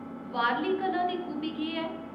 वारली कला दी खूबी केह् ऐ ?